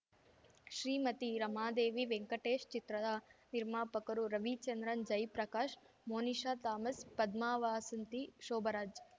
ಶ್ರೀಮತಿ ರಮಾದೇವಿ ವೆಂಕಟೇಶ್‌ ಚಿತ್ರದ ನಿರ್ಮಾಪಕರು ರವಿಚಂದ್ರನ್‌ ಜೈ ಪ್ರಕಾಶ್‌ ಮೋನಿಶಾ ಥಾಮಸ್‌ ಪದ್ಮಾವಾಸಂತಿ ಶೋಭರಾಜ್‌